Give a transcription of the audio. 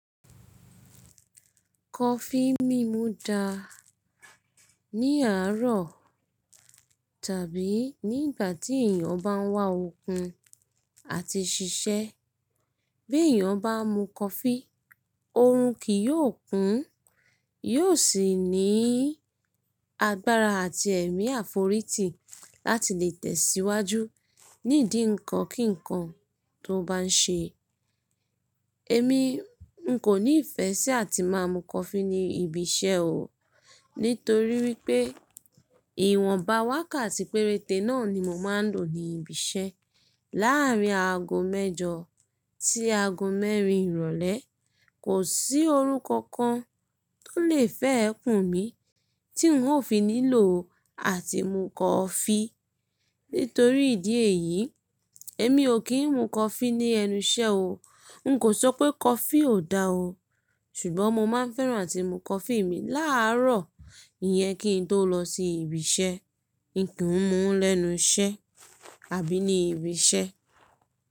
Kọfí mímu dáa ní àárọ̀ tàbí nígbà tí èèyàn bá ń wá okun àti ṣiṣẹ́. Bí èèyàn bá ń mu coffee, oorun kì yóò kún, yóò sì ní agbára àti ẹ̀mí àforítì láti lè tẹ̀síwájú, ní ìdí ǹkan kí n kan tó bá ń ṣe. Èmi n kò ní ìfẹ́ sí àti máa mu kọfí ní ibi iṣẹ́ o, nítorí wípé ìwọ̀n bá wákàtí péréte náà ni mo máa ń lò ní ibi iṣẹ́. Láàrín aago mẹ́jọ tí aago mẹ́rin ìrọ̀lẹ́, kò sí oorun kankan tó lè fẹ́ ẹ kùn mi tí n ò fi nílò àti mu kọfí. Nítorí ìdí èyí, èmi ò kí ń mu kọfí ní ẹnu iṣẹ́ o. N kò sọ pé kọfí ò dáa o, ṣùgbọ́n mo máa ń fẹ́ràn àti mu kọfí mi láárọ̀, ìyẹn kí n tó lọ sí ibi iṣẹ́. N kìí mu lẹ́nu iṣẹ́ àbí ní ibi iṣẹ́.